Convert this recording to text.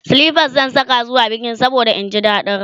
silifas zan Saka zuwa bikin saboda in ji daɗin rawa